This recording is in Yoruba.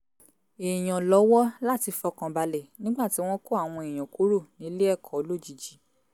èèyàn lọ́wọ́ láti fọkàn balẹ̀ nígbà tí wọ́n kó àwọn èèyàn kúrò nílé-ẹ̀kọ́ lójijì